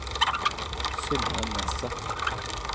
Synne Nesset